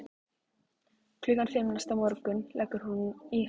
Klukkan fimm næsta morgun leggur hún í hann.